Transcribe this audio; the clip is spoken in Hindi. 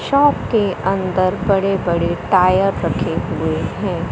शॉप के अंदर बड़े बड़े टायर रखे हुए हैं।